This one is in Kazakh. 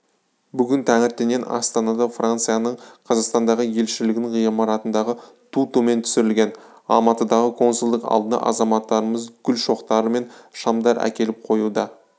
бүгін таңертеңнен астанада францияның қазақстандағы елшілігінің ғимаратындағы ту төмен түсірілген алматыдағы консулдық алдына азаматтарымыз гүл шоқтары мен шамдар әкеліп қоюда